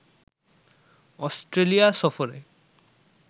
Australia সফরে